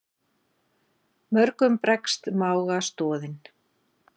Mörgum bregst mága stoðin.